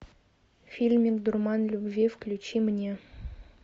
фильмик дурман любви включи мне